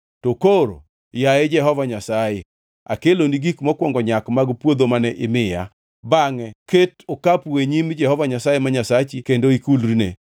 to koro, yaye Jehova Nyasaye, akeloni gik mokwongo nyak mag puodho mane imiya.” Bangʼe ket okapu e nyim Jehova Nyasaye ma Nyasachi kendo ikulrine.